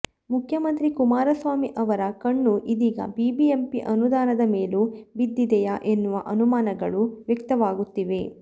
ಮುಖ್ಯಮಂತ್ರಿ ಕುಮಾರಸ್ವಾಮಿ ಅವರ ಕಣ್ಣು ಇದೀಗ ಬಿಬಿಎಂಪಿ ಅನುದಾನದ ಮೇಲೂ ಬಿದ್ದಿದೆಯಾ ಎನ್ನುವ ಅನುಮಾನಗಳು ವ್ಯಕ್ತವಾಗುತ್ತಿವೆ